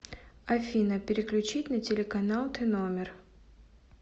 афина переключить на телеканал тномер